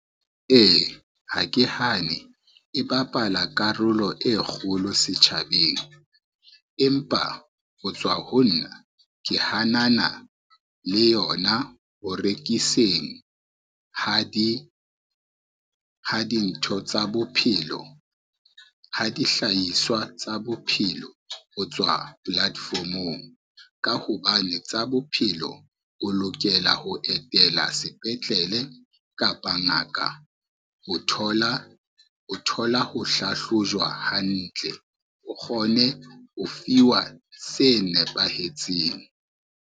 E, ha ke hane e bapala karolo e kgolo setjhabeng empa ho tswa ho nna, ke hanana le yona ho rekiseng ha dintho tsa bophelo, ha dihlahiswa tsa bophelo ho tswa platform-ong. Ka hobane tsa bophelo o lokela ho etela sepetlele kapa ngaka ho thola ho hlahlojwa hantle, o kgone ho fiwa se nepahetseng.